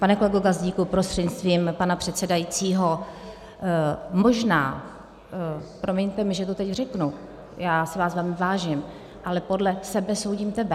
Pane kolego Gazdíku prostřednictvím pana předsedajícího, možná - promiňte mi, že to teď řeknu, já si vás velmi vážím, ale podle sebe soudím tebe.